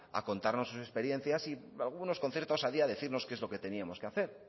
a contarnos sus experiencias y algunos con cierta osadía a decirnos qué es lo que teníamos que hacer